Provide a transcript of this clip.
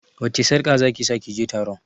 Wacce sarƙa zaki sa kije taron?